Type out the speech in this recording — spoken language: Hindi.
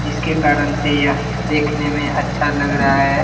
जिसके कारण से यह देखने में अच्छा लग रहा है।